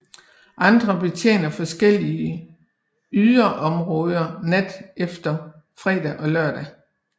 Andre betjener forskellige yderområder nat efter fredag og lørdag